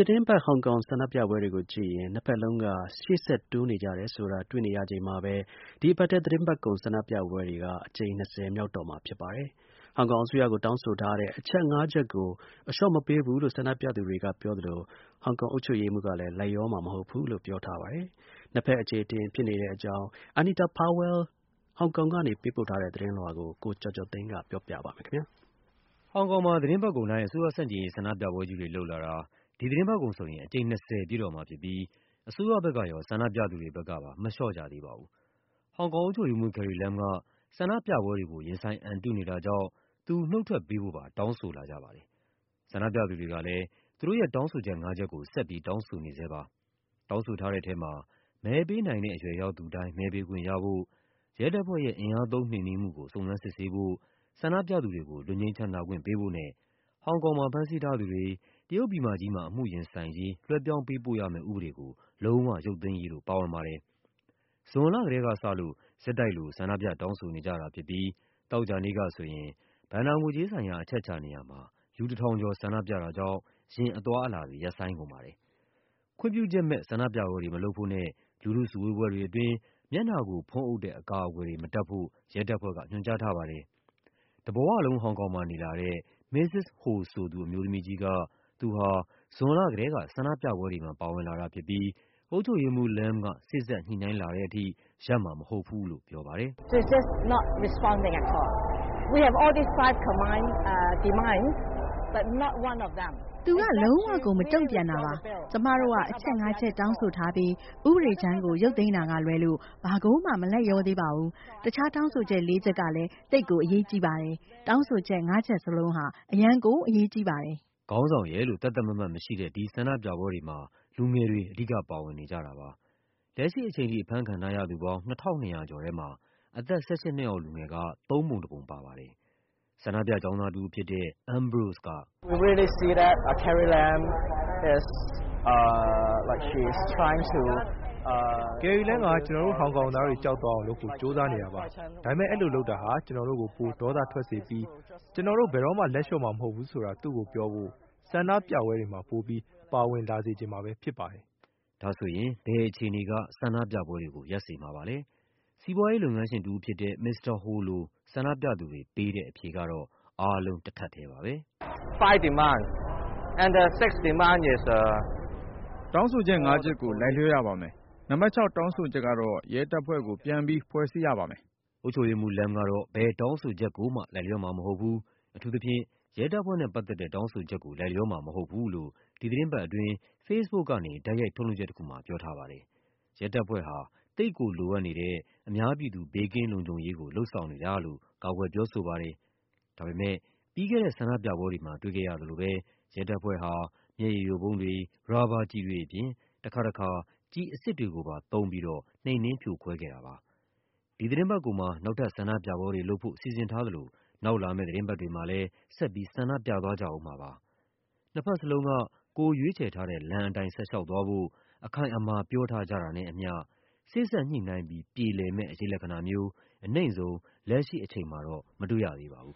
တင်းပတ် ဟောင်ကောင်ဆန္ဒပြပွဲတွေကိုကြည့်ရင် နှစ်ဘက်လုံးက ရှေ့ဆက်တိုးနေကြတယ်ဆိုတာ တွေ့ခဲ့ရပြီး တဲ့နောက် သီတင်းပတ်ကုန်ဆန္ဒပြပွဲ အကြိမ် ၂၀ မြောက်တော့မှာဖြစ်ပါတယ်။ ဟောင်ကောင်အစိုးရကို တောင်းဆိုထားတဲ့ အချက် ၅ ချက်ကို အလျှော့မပေးဘူးလို့ ဆန္ဒပြသူတွေက ပြောသလို အုပ်ချုပ်ရေးမှူးကလည်း လိုက်လျောမှာ မဟုတ်ဘူးလို့ ပြော ထားပါတယ်။ ဆန္ဒပြသူတွေက လက်မလျှော့ဘူးလို့ ပြောကြတဲ့အကြောင်း Anita Powell ဟောင်ကောင်ကနေ ပေးးပို့ထားတဲ့ သတင်းလွှာကို ကိုကျော်ကျော်သိန်းက ပြောပြပါမယ်။ ဟောင်ကောင်မှာ သီတင်းပတ်ကုန်တိုင်း အစိုးရဆန့်ကျင်ရေးဆန္ဒပြပွဲကြီးတွေ လုပ်လာတာ ဒီသီတင်းပတ်ကုန်ဆိုရင် အကြိမ် ၂၀ ပြည့်တော့မှာဖြစ်ပြီး အစိုးရဘက်ကရော ဆန္ဒပြသူတွေဘက်ကပါ မလျှော့ကြသေးပါဘူး။ ဟောင်ကောင်အုပ်ချုပ်ရေး မှူး Carrie Lam က ဆန္ဒပြပွဲတွေကို ရင်ဆိုင်အံတုနေတာကြောင့် သူ နုတ်ထွက်ပေးဖို့ပါ တောင်းဆိုလာကြပါတယ်။ ဆန္ဒပြသူတွေကလည်း သူတို့ရဲ့ တောင်းဆိုချက် ၅ ချက်ကို ဆက်ပြီး တောင်းဆိုနေဆဲပါ။ တောင်းဆိုထားတဲ့ထဲမှာ မဲပေးနိုင်တဲ့ အရွယ်ရောက်သူတိုင်း မဲပေးခွင့်ရဖို့၊ ရဲတပ်ဖွဲ့ရဲ့ အင်အားသုံးနှိမ်နင်းမှုကို စုံစမ်းစစ်ဆေးဖို့၊ ဆန္ဒပြသူတွေကို လွတ်ငြိမ်းချမ်းသာခွင့် ပေးဖို့နဲ့ ဟောင်ကောင်မှာ ဖမ်းဆီးထားသူတွေ တရုတ်ပြည်မကြီးမှာ အမှုရင်ဆိုင်ရေး လွှဲပြောင်းပေးပို့ရမယ့် ဥပဒေကို လုံးဝ ရုပ်သိမ်းရေးတို့ ပါဝင်ပါတယ်။ ဇွန်လကတည်းကစလို့ ဆက်တိုက်လို ဆန္ဒပြတောင်းဆိုနေကြတာဖြစ်ပြီး သောကြာနေ့ကဆိုရင် ဘဏ္ဍာငွေကြေးဆိုင်ရာ အချက်အချာနေရာမှာ လူ ၁၀၀၀ ကျော် ဆန္ဒပြတာကြောင့် ယာဉ်အသွားအလာတွေ ရပ်ဆိုင်းကုန်ပါတယ်။ ခွင့်ပြုချက်မဲ့ ဆန္ဒပြပွဲတွေမလုပ်ဖို့နဲ့ လူထုစုဝေးပွဲတွေအတွင်း မျက်နှာကို ဖုံးအုပ်တဲ့ အကာအကွယ်တွေ မတပ်ဖို့ ရဲတပ်ဖွဲ့က ညွှန်ကြားထားပါတယ်။ တဘဝလုံး ဟောင်ကောင်မှာနေလာတဲ့ Mrs. Ho ဆိုသူ အမျိုးသမီးကြီးက သူဟာ ဇွန်လကတည်းက ဆန္ဒပြပွဲတွေမှာ ပါဝင်လာ တာဖြစ်ပြီး အုပ်ချုပ်ရေးမှူး Lam က စေ့စပ်ညှိနှိုင်းလာတဲ့အထိ ရပ်မှာမဟုတ်ဘူးလို့ ပြောပါတယ်။ “သူက လုံးဝကို မတုံ့ပြန်တာပါ။ ကျမတို့က အချက်ငါးချက် တောင်းဆိုထားပြီး ဥပဒေမူကြမ်းကို ရုပ်သိမ်းတာကလွဲလို့ ဘာကိုမှ မလိုက်လျောသေးပါဘူး။ တခြားတောင်းဆိုချက် လေးချက်ကလည်း သိပ်ကိုအရေးကြီးပါတယ်။ တောင်းဆိုချက် ၅ ချက် လုံးဟာ အရမ်းကို အရေးကြီးပါတယ်။” ခေါင်းဆောင်ရယ်လို့ သတ်သတ်မှတ်မှတ်မရှိတဲ့ ဒီဆန္ဒပြပွဲတွေမှာ လူငယ်တွေ အဓိက ပါဝင်နေကြတာပါ။ လက်ရှိအချိန်ထိ အဖမ်း ခံထားရသူပေါင်း ၂၂၀၀ ကျော်ထဲမှာ အသက် ၁၈ နှစ်အောက်လူငယ် သုံးပုံတပုံပါပါတယ်။ ဆန္ဒပြ ကျောင်းသားတဦးဖြစ်တဲ့ Ambrose က “Carrie Lam က ကျနော်တို့ ဟောင်ကောင်သားတွေကို ကြောက်သွားအောင်လုပ်ဖို့ ကြိုးစားနေတာပါ။ ဒါပေမယ့် အဲဒီလိုလုပ်တာက ကျနော်တို့ကို ဒေါသပိုထွက်စေပြီး ကျနော်တို့ ဘယ်တော့မှ လက်လျှော့မှာမဟုတ်ဘူးဆိုတာ သူ့ကိုပြောဖို့ ဆန္ဒပြပွဲတွေမှာ ပိုပြီး ပါဝင်လာစေချင်မှာပဲ ဖြစ်ပါတယ်။” ဒါဆိုရင် ဘယ်အခြေအနေက ဆန္ဒပြပွဲတွေကို ရပ်စေမှာပါလဲ… စီးပွားရေးလုပ်ငန်းရှင်တဦးဖြစ်တဲ့ Ho လို ဆန္ဒပြသူတွေ ပေးတဲ့ အဖြေကတော့ အားလုံးတထပ်ထဲပါပဲ။ “တောင်းဆိုချက် ၅ ချက်ကို လိုက်လျောရပါမယ်။ နံပါတ် ၆ တောင်းဆိုချက်ကတော့ ရဲတပ်ဖွဲ့ကို ပြန်ပြီးဖွဲ့စည်းရပါမယ်။” အုပ်ချုပ်ရေးမှူး Lam က ဘယ်တောင်းဆိုချက်ကိုမှ လိုက်လျောမှာမဟုတ်ဘူး၊ အထူးသဖြင့် ရဲတပ်ဖွဲ့နဲ့ပတ်သက်တဲ့ တောင်းဆို ချက်ကို လိုက်လျောမှာမဟုတ်ဘူးလို့ ဒီသီတင်းပတ်အတွင်း Facebook ကနေ တိုက်ရိုက်ထုတ်လွှင့်ချက်တခုမှာ ပြောထားပါ တယ်။ ရဲတပ်ဖွဲ့ဟာ သိပ်ကိုလိုအပ်နေတဲ့ အများပြည်သူ ဘေးကင်းလုံခြုံရေးကို လုပ်ဆောင်နေတာလို့ ကာကွယ်ပြောဆိုပါတယ်။ ဒါပေမယ့် ပြီးခဲ့တဲ့ ဆန္ဒပြပွဲတွေမှာ တွေ့ခဲ့ရသလိုပဲ ရဲတပ်ဖွဲ့ဟာ မျက်ရည်ယိုဗုံးတွေ၊ ရာဘာကျည်တွေအပြင် တခါတခါ ကျည် အစစ်တွေကိုပါသုံးပြီးတော့ နှိမ်နင်းဖြိုခွဲခဲ့ပါတယ်။ ဒီသီတင်းပတ်ကုန်မှာ နောက်ထပ်ဆန္ဒပြပွဲတွေလုပ်ဖို့ စီစဉ်ထားသလို နောက် လာမယ့် သီတင်းပတ်တွေမှာလည်း ဆက်ပြီး ဆန္ဒပြသွားကြဦးမှာပါ။ နှစ်ဘက်စလုံးက ကိုယ်ရွေးချယ်ထားတဲ့လမ်းအတိုင်း ဆက်လျှောက်သွားဖို့ အခိုင်အမာ ပြောထားကြတာနဲ့အမျှ စေ့စပ်ညှိနှိုင်းပြီး ပြေလည်မယ့် အရိပ်လက္ခဏာမျိုး အနိမ့်ဆုံး လက်ရှိအချိန်မှာတော့ မတွေ့ရသေးပါဘူး